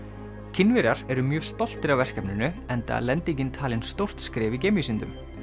Kínverjar eru mjög stoltir af verkefninu enda er lendingin talin stórt skref í geimvísindum